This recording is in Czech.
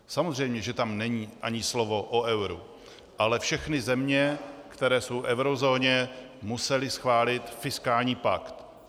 Samozřejmě že tam není ani slovo o euru, ale všechny země, které jsou v eurozóně, musely schválit fiskální pakt.